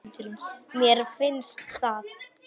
Mér finnst það.